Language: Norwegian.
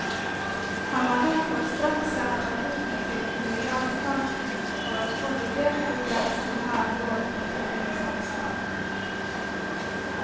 Han har derfor straks sendt rapporten til kommuneadvokaten for å få vurdert hvor grensene her går for kommunens ansvar.